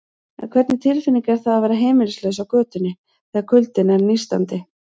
En hvernig tilfinning er það að vera heimilislaus á götunni, þegar kuldinn er nístandi?